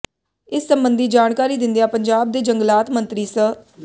ਇਸ ਸਬੰਧੀ ਜਾਣਕਾਰੀ ਦਿੰਦਿਆਂ ਪੰਜਾਬ ਦੇ ਜੰਗਲਾਤ ਮੰਤਰੀ ਸ